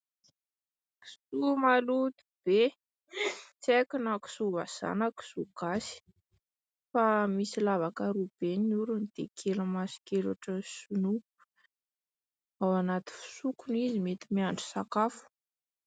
Kisoa maloto be, tsy haiko na kisoa vazaha na kisoa gasy fa misy lavaka roa be ny orony dia kely maso kely ohatrin'ny sinoa. Ao anaty fisoko izy mety miandry sakafo.